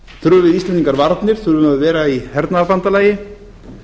þurfum við íslendingar varnir þurfum við að vera í hernaðarbandalagi